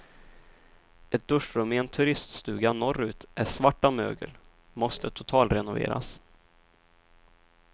Ett duschrum i en turiststuga norrut är svart av mögel, måste totalrenoveras.